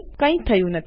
કઈ થયું નથી